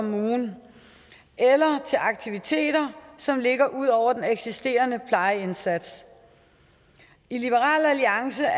af ugen eller til aktiviteter som ligger ud over den eksisterende plejeindsats i liberal alliance er